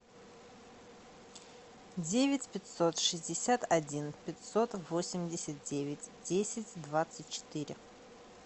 девять пятьсот шестьдесят один пятьсот восемьдесят девять десять двадцать четыре